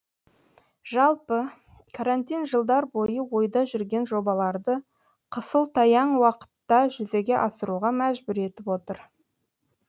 жалпы карантин жылдар бойы ойда жүрген жобаларды қысылтаяң уақытта жүзеге асыруға мәжбүр етіп отыр